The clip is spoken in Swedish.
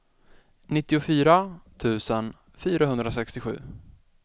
nittiofyra tusen fyrahundrasextiosju